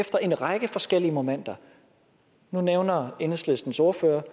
fra en række forskellige momenter nu nævner enhedslistens ordfører